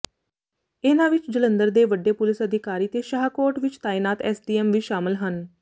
ਇਨ੍ਹਾਂ ਵਿੱਚ ਜਲੰਧਰ ਦੇ ਵੱਡੇ ਪੁਲਿਸ ਅਧਿਕਾਰੀ ਤੇ ਸ਼ਾਹਕੋਟ ਵਿੱਚ ਤਾਇਨਾਤ ਐਸਡੀਐਮ ਵੀ ਸ਼ਾਮਲ ਹਨ